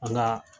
An ka